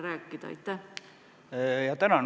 Tänan!